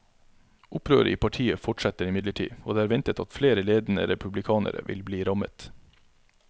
Opprøret i partiet fortsetter imidlertid, og det er ventet at flere ledende republikanere vil bli rammet.